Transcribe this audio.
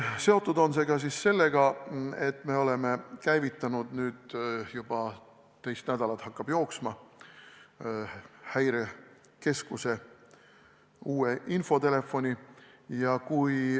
See on seotud ka sellega, et me oleme käivitanud uue infotelefoni, mis toimib nüüd juba teist nädalat.